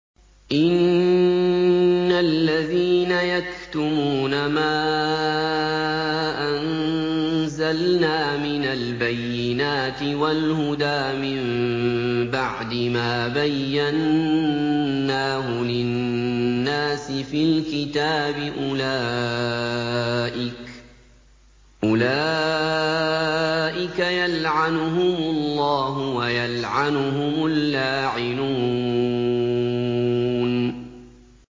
إِنَّ الَّذِينَ يَكْتُمُونَ مَا أَنزَلْنَا مِنَ الْبَيِّنَاتِ وَالْهُدَىٰ مِن بَعْدِ مَا بَيَّنَّاهُ لِلنَّاسِ فِي الْكِتَابِ ۙ أُولَٰئِكَ يَلْعَنُهُمُ اللَّهُ وَيَلْعَنُهُمُ اللَّاعِنُونَ